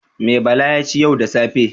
Me Bala ya ci yau da safe?